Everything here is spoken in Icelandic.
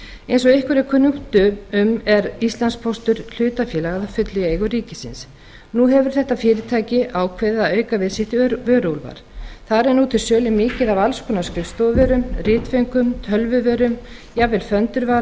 eins og ykkur er kunnugt um er íslandspóstur hlutafélag í fullri eigu ríkisins nú hefur þetta fyrirtæki ákveðið að auka við vöruúrval sitt þar er nú til sölu mikið af alls konar skrifstofuvörum ritföngum tölvuvörum jafnvel föndurvara